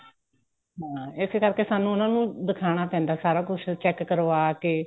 ਹਾਂ ਇਸੇ ਕਰਕੇ ਸਾਨੂੰ ਉਹਨਾ ਨੂੰ ਦਿਖਾਣਾ ਪੈਂਦਾ ਸਾਰਾ ਕੁੱਝ check ਕਰਵਾਕੇ